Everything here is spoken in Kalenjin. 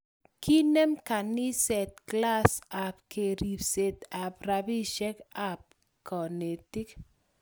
Kinem kaniset klas ab keribset ab rabisiek ak kanetik